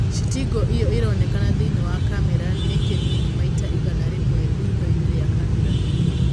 citĩngi ĩo ĩronekana thĩiniĩ wa kamera nĩ kĩnini maita igana rĩmwe rithoinĩ rĩa kamera.